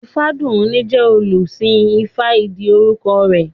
Ifádùúní jẹ́ olùsìn ifá ìdí orúkọ rẹ̀